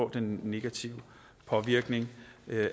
den negative påvirkning